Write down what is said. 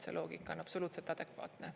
See loogika on absoluutselt adekvaatne.